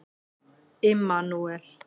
Immanúel